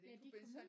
Ja at de kom ud?